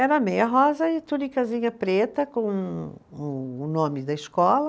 Era meia rosa e tunicazinha preta com o o nome da escola.